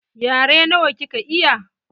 Yare nawa kika iya?